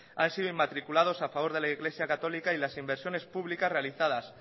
han sidoinmatriculados a favor de la iglesia católica y las inversiones públicas realizadas